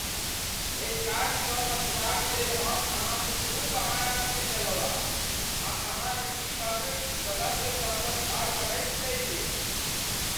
एहि काजसँ बचबाकलेल हम अहाँक खूब बहाना सूनि लेलहुँ आब आ अहाँक टीमक सदस्यसभ पर भार बढ़ैत चलि गेल।